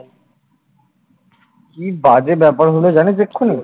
কি বাজে ব্যাপার হল জানিস এক্ষুনি